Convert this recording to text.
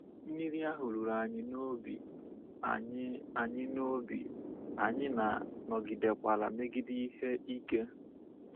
Mmiri ahụ ruru anyị n’obi, anyị anyị n’obi, anyị na nọgidekwara megide ihe ike.